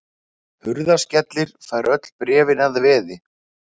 Hurðaskellir fær öll bréfin að veði.